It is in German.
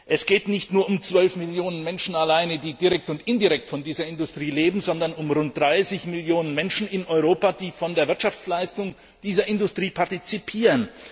Es geht nicht nur um 12 Millionen Menschen, die direkt und indirekt von dieser Industrie leben, sondern um rund 30 Millionen Menschen in Europa, die an der Wirtschaftsleistung dieser Industrie partizipieren.